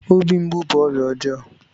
Obi mgbu bú ọrịa ọjọọ